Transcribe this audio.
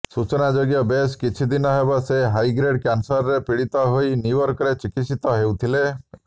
ସୂଚନାଯୋଗ୍ୟ ବେଶ କିଛି ଦିନ ହେବ ସେ ହାଇଗ୍ରେଡ଼ କ୍ୟାନସରରେ ପୀଡ଼ିତ ହୋଇ ନ୍ୟୁୟର୍କରେ ଚିକିତ୍ସିତ ହୋଉଥିଲେ